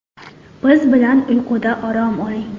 Biz bilan uyquda orom oling!